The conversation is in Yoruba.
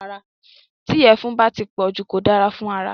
Tí ìyẹ̀fun bá ti pọ̀jù kò dára fún ara